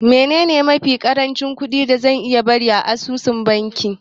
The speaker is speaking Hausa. Menene mafi ƙarancin kuɗi da zan iya bari a asusun banki?